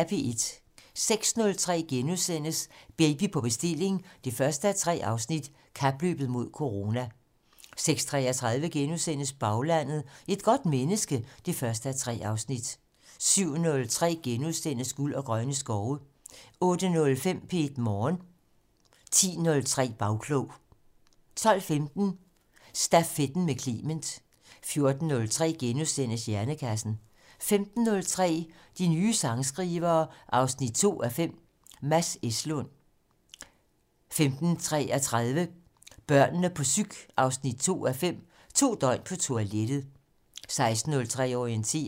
06:03: Baby på bestilling 1:3: Kapløbet mod corona * 06:33: Baglandet: Et godt menneske 1:3 * 07:03: Guld og grønne skove * 08:05: P1 Morgen 10:03: Bagklog 12:15: Stafetten med Clement 14:03: Hjernekassen * 15:03: De nye sangskrivere 2:5 - Mads Eslund 15:33: Børnene på psyk 2:5 - To døgn på toilettet 16:03: Orientering